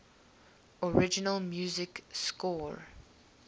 original music score